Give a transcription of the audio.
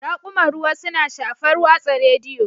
Raƙuman ruwa suna shafar watsa rediyo